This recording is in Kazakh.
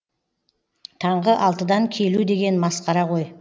таңғы алтыдан келу деген масқара ғой